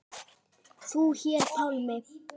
Þú hér, Pálmi.